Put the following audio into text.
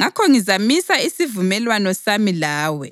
Ngakho ngizamisa isivumelwano sami lawe